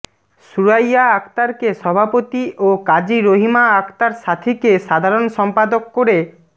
সুরাইয়া আক্তারকে সভাপতি ও কাজী রহিমা আক্তার সাথীকে সাধারণ সম্পাদক করে